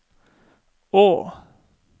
å